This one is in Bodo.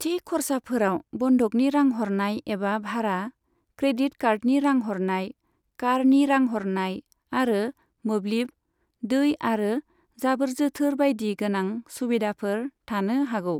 थि खर्साफोराव बन्धकनि रां हरनाय एबा भारा, क्रेडिट कार्डनि रां हरनाय, कारनि रां हरनाय, आरो मोब्लिब, दै आरो जाबोर जोथोर बायदि गोनां सुबिदाफोर थानो हागौ।